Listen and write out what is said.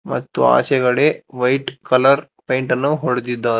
ಮತ್ತು ಆಚೆಕಡೆ white colour ಪೇಂಟನ್ನು ಹೊಡೆದಿದ್ದಾರೆ.